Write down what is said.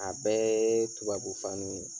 A bɛɛ tubabu faniw ye.